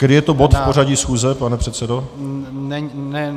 Který je to bod v pořadí schůze, pane předsedo?